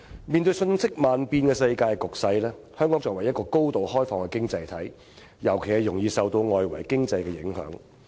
面對瞬息萬變的世界局勢，香港作為高度開放的經濟體，尤其容易受到外圍經濟的影響。